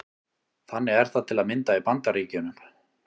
Þannig er það til að mynda í Bandaríkjunum.